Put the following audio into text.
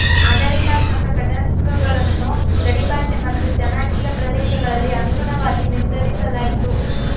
ಆಡಳಿತಾತ್ಮಕ ಘಟಕಗಳನ್ನು ಗಡಿ ಭಾಷೆ ಮತ್ತು ಜನಾಂಗೀಯ ಪ್ರದೇಶಗಳಲ್ಲಿ ಅನುಗುಣವಾಗಿ ನಿರ್ಧರಿಸಲಾಯಿತು